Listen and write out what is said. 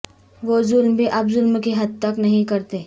وہ ظلم بھی اب ظلم کی حد تک نہیں کرتے